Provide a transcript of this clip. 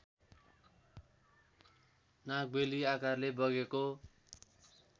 नागबेली आकारले बगेको